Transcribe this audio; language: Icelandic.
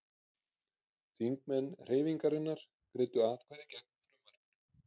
Þingmenn Hreyfingarinnar greiddu atkvæði gegn frumvarpinu